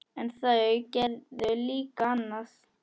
En þau gerðu líka annað.